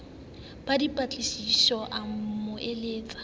ba dipatlisisomme a mo eletse